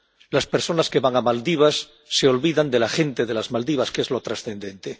Las personas que van a Maldivas se olvidan de la gente de Maldivas, que es lo trascendente.